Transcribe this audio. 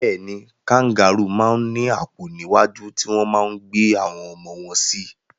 Bẹ́ẹ̀ni, kangarúù máa ń ní àpò níwájú tí wọ́n máa ń gbé àwọn ọmọ wọn sí.